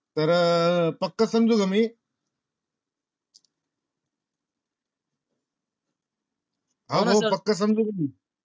तर पक्क समजू का मी?